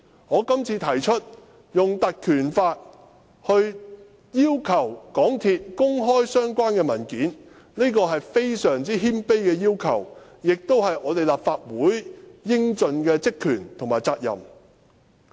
我今次提出用《條例》要求港鐵公司公開相關文件，是非常謙卑的要求，亦是立法會應盡的職權和責任。